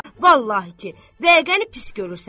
Vallahi ki, bəyqəni pis görürsən.